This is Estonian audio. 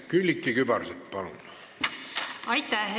Külliki Kübarsepp, palun!